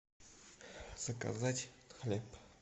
заказать хлеб